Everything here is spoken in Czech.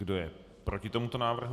Kdo je proti tomuto návrhu?